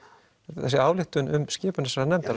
þessi ályktun um skipun þessarar nefndar